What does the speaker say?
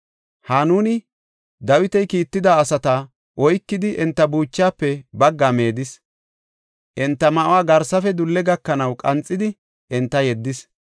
Hanuni Dawiti kiitida asata oykidi, enta buuchaafe baggaa meedis; enta ma7uwa garsafe dulle gakanaw qanxidi enta yeddis.